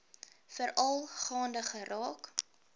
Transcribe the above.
veral gaande geraak